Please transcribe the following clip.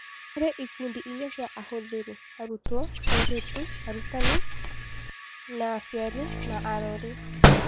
Harĩ ikundi inya cia ahũthĩri: arutwo, airĩtu, arutani, na aciari na arori.